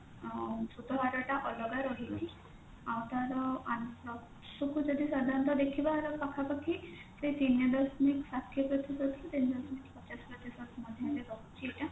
ଆଁ ସୁଧହାର ଟା ଅଲଗା ରହିଛି ଆଉ ତାର ଯଦି ସାଧାରଣତଃ ଦେଖିବା ୟାର ପାଖାପାଖି ସେଇ ତିନି ଦଶମିକ ଷାଠିଏ ପ୍ରତିଶତ ରୁ ତିନି ଦଶମିକ ପଚାଶ ପ୍ରତିଶତ ମଧ୍ୟରେ ରହୁଛି ଏଇଟା